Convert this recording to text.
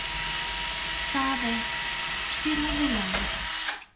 Daðey, spilaðu lag.